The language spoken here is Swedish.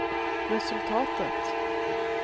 resultatet